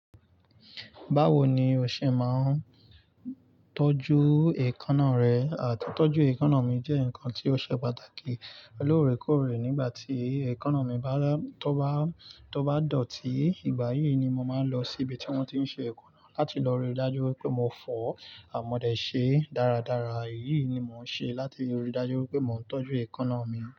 Báwo ni o ṣe máa ń tọ́jú èékánná rẹ? Títọ́jú èékáná mi jẹ́ nkna tí ó ṣe pàtàkì. Lórèkórè nígbà tí èékánná mi bá, tó bá, tó bá dọ̀tí, ìgbà yí ni màá n lọ síbi tí wọ́n ti n ṣe èékánná láti lọ ríi dájú pé mo fọ̀ àmọ̀dẹ́ ṣe dáradára. Èyí ni mò ń ṣe láti ríi dájú wípé mò ń tọ́jú èékánná mi.